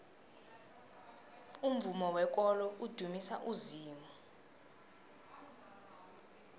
umvumo wekolo udumisa uzimu